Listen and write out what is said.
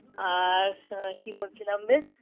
আর কি বলছিলাম বেশ